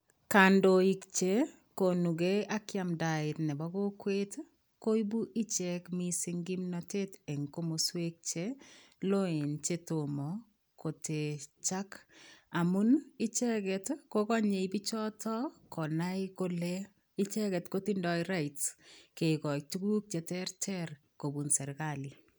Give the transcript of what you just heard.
Kandoik che konugei ii ak yamdaet nebo kokwet ii koibuu icheek missing ii kimnatet eng komosweek che loen che tomah kotechaak amuun ii ichegeet ko kanyei bichotoo konai kole ichegeet ko tindoi right kegonin tuguuk che terter kobuun serikali.